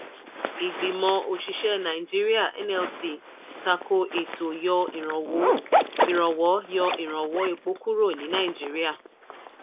ìgbìmọ̀ òṣìṣẹ́ nàíjíríà (nlc) tako ètò yọ ìrànwó yọ ìrànwọ́ epo kúrò ní nàíjíríà.